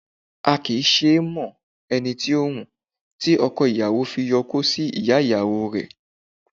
A kì í mo ẹni tí í wù, tí ọko ìyàwó fi yo okó sí ìyá ìyàwó rẹ̀